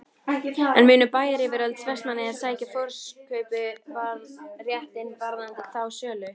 En munu bæjaryfirvöld Vestmannaeyja sækja forkaupsréttinn varðandi þá sölu?